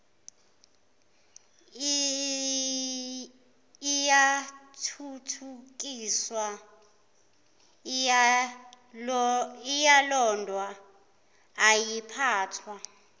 iyathuthukiswa iyalondwa iyaphathwa